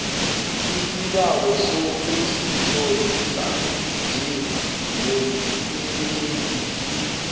isibawo sokuzitlolisa njengomsebenzisi